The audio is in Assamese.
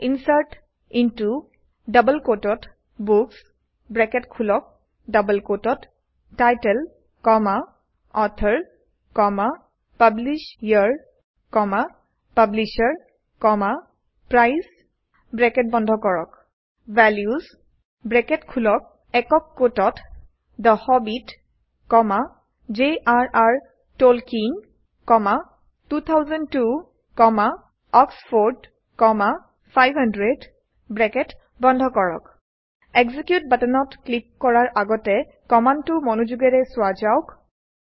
insert into books title author publisher publisher price values the Hobbit jrৰ টলকিয়েন 2002 অক্সফৰ্ড 500 এক্সিকিউট বাটনত ক্লিক কৰাৰ আগতে কমাণ্ডটো মনযোগেৰে চোৱা যাওক